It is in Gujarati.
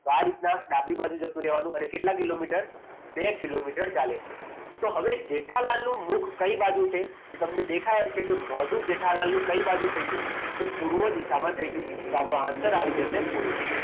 તો આ રીતના ડાબી બાજુ જતું રહેવાનું અને કેટલા કિલોમીટર બે કિલોમીટર ચાલે છે તો હવે જેઠાલાલ નું મુખ કઈ બાજુ છે તો તમને દેખાય છે કે મોઢું જેઠાલાલનું કઈ બાજુ થઈ ગયું તો પૂર્વ દિશામાં થઈ ગયું તો આપણો answer આવી જશે પૂર્વ